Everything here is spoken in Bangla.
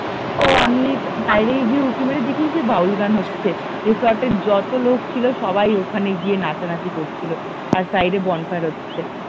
ও আমি একটু বাইরে উঁকি মেরে গিয়ে দেখি কি বাউল গান হচ্ছে রিসোর্ট এর যত লোক ছিল সবাই ওখানে গিয়ে নাচানাচি করছিল আর সাইট এ বনফায়ার হচ্ছে